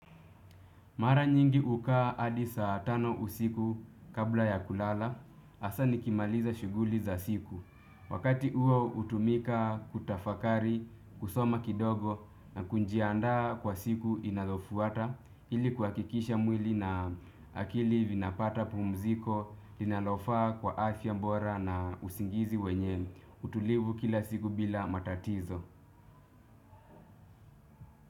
Mara nyingi hukaa hadi saa tano usiku kabla ya kulala, ahsa nikimaliza shughuli za siku. Wakati huo utumika kutafakari, kusoma kidogo na kujiandaa kwa siku inayofuata ili kuhakikisha mwili na akili vinapata pumziko linalofaa kwa afya bora na usingizi wenye utulivu kila siku bila matatizo.